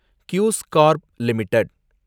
khus corp limited